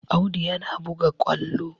Audu yana buga ƙwallo